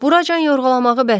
Buracan yorğalamağı bəsdir.